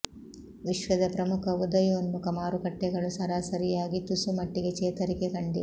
ವಿಶ್ವದ ಪ್ರಮುಖ ಉದಯೋನ್ಮುಖ ಮಾರುಕಟ್ಟೆಗಳು ಸರಾಸರಿಯಾಗಿ ತುಸು ಮಟ್ಟಿಗೆ ಚೇತರಿಕೆ ಕಂಡಿವೆ